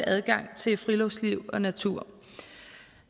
adgang til friluftsliv og natur